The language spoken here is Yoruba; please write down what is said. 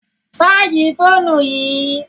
Ṣààjì fóònù yìí!